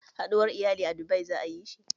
Haɗuwar iyali a Dubai za ayi shi